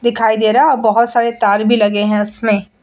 दिखाई दे रहा है और बहुत सारे तार भी लगा है उसमे --